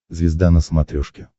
звезда на смотрешке